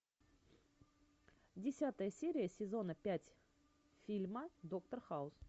десятая серия сезона пять фильма доктор хаус